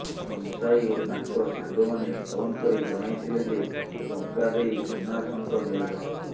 ସନସାଇ ଓ ତାଙ୍କ ସାଙ୍ଗମାନେ ଫୋନ କରି ଜଣାଇଥିଲେଯେ ଟଙ୍କା ଦେଇ ସୁନାଶଙ୍ଖ ନେଇଯାଅ